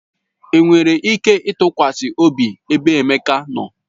Enwere ike itinye ịtụkwasị obi ebe Emeka nọ?